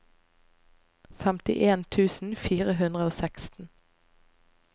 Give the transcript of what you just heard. femtien tusen fire hundre og seksten